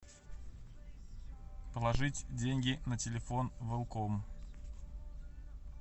положить деньги на телефон велком